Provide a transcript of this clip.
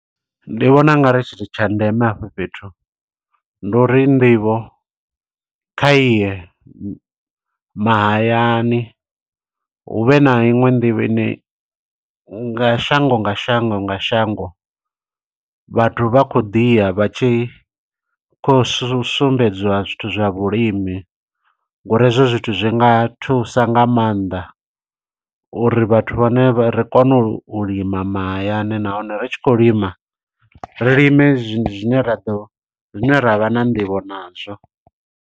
Ndi vhona ungari tshithu tsha ndeme afho fhethu, ndi uri nḓivho kha iye mahayani. Hu vhe na iṅwe nḓivho ine nga shango nga shango nga shango, vhathu vha khou ḓiya vha tshi khou sumbedziwa zwithu zwa vhulimi. Ngo uri hezwo zwithu zwi nga thusa nga maanḓa, uri vhathu vhane vha, ri kone u lima mahayani, nahone ri tshi khou lima, ri lime zwine ra ḓo zwine ra vha na nḓivho nazwo.